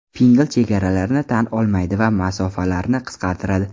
Pinngle chegaralarni tan olmaydi va masofalarni qisqartiradi!